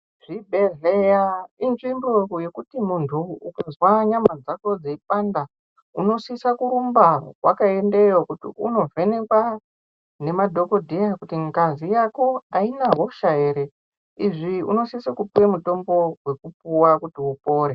Zvibhedhleya inzvimbo yekuti muntu ukazwa nyama dzako dzeipanda unosisa kurumba wakaendayo kuti unovhenekwa ngemadhokodheya kuti ngazi yako aina hosha here izvi unosisa kupuwa mutombo wekupuwa kuti upore.